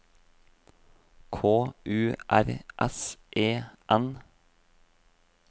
K U R S E N